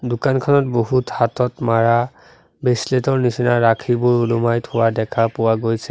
দোকানখনত বহুত হাতত মাৰা বেচলেত ৰ নিচিনা ৰাখীবোৰ ওলোমাই থোৱা দেখা পোৱা গৈছে।